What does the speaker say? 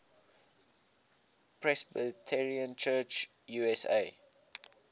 presbyterian church usa